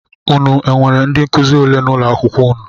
Unu enwere ndị nkụzi ole n'ụlọakwụkwọ unu?